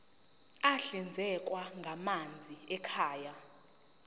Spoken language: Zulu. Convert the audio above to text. ahlinzekwa ngamanzi ekhaya